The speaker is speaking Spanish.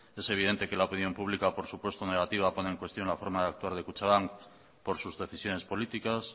es evidente que la opinión pública por supuesto negativa pone en cuestión la forma de actuar de kutxabank por sus decisiones políticas